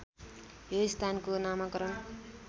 यो स्थानको नामाकरण